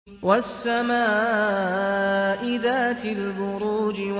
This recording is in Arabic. وَالسَّمَاءِ ذَاتِ الْبُرُوجِ